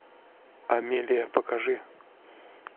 амелия покажи